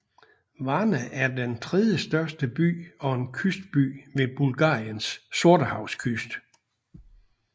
Varna er den tredjestørste by og en kystby ved Bulgariens sortehavskyst